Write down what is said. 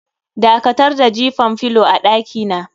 Dakatar da jifan filo a dakina.